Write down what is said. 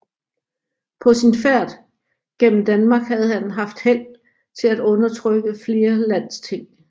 På sin færd gennem Danmark havde han haft held til at undertrykke flere landsting